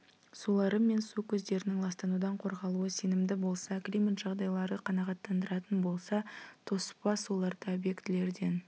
сулары мен су көздерінің ластанудан қорғалуы сенімді болса климат жағдайлары қанағаттандыратын болса тоспа суларды объектілерден